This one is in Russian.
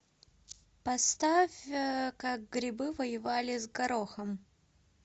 поставь как грибы воевали с горохом